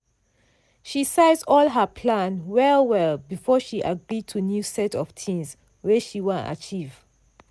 she size all her plan well well before she gree to new set of things wey she wan achieve.